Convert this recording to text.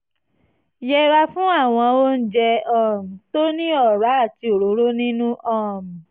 yẹra fún àwọn oúnjẹ um tó ní ọ̀rá àti òróró nínú um